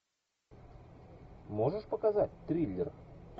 можешь показать триллер